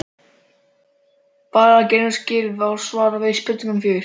Bara greinaskil og svar við spurningu fjögur.